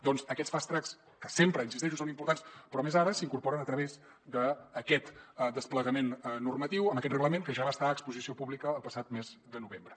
doncs aquests fast tracks que sempre hi insisteixo són importants però més ara s’incorporen a través d’aquest desplegament normatiu amb aquest reglament que ja va estar a exposició pública el passat mes de novembre